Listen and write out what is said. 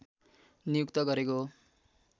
नियुक्त गरेको हो